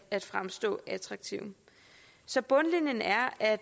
at fremstå attraktiv så bundlinjen er at